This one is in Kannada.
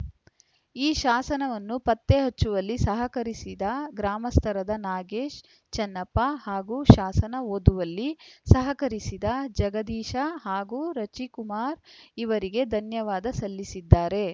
ಈ ಶಾಸನವನ್ನು ಪತ್ತೆ ಹಚ್ಚುವಲ್ಲಿ ಸಹಕರಿಸಿದ ಗ್ರಾಮಸ್ಥರದ ನಾಗೇಶ್‌ ಚನ್ನಪ್ಪ ಹಾಗೂ ಶಾಸನ ಓದುವಲ್ಲಿ ಸಹಕರಿಸಿದ ಜಗದೀಶ ಹಾಗೂ ರಚಿಕುಮಾರ ಇವರಿಗೆ ಧನ್ಯವಾದ ಸಲ್ಲಿಸಿದ್ದಾರೆ